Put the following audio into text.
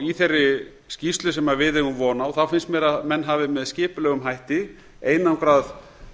í þeirri skýrslu sem við eigum von á finnst mér að menn hafi með skipulegum hætti einangrað